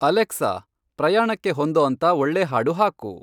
Alexa ಪ್ರಯಾಣಕ್ಕೆ ಹೊಂದೋಂತ ಒಳ್ಳೆ ಹಾಡು ಹಾಕು